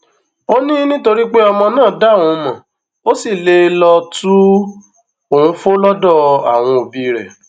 ó ní nítorí pé ọmọ náà dá òun mọ ó sì lè lọọ tu òun fó lọdọ àwọn òbí rẹ